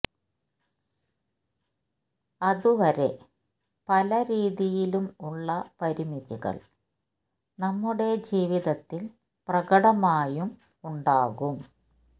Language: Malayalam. അത് വരെ പല രീതിയിലുംഉള്ള പരിമിതികൾ നമ്മുടെ ജീവിതത്തിൽ പ്രകടമായും ഉണ്ടാകും